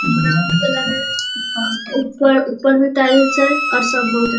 ऊपर मै टाइल्स है और सब बहुत अ --